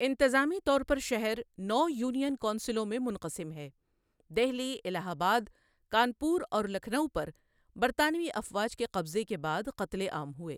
انتظآمی طور پر شہر نو یونین کونسلوں میں منقسم ہے دہلی، الہ آباد، کانپور اور لکھنؤ پر برطانوی افواج کے قبضے کے بعد قتل عام ہوئے۔